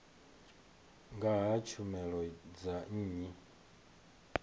nga ha tshumelo dza nnyi